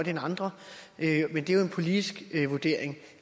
end andre men det er jo en politisk vurdering